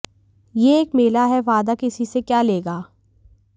ये एक मेला है वादा किसी से क्या लेगा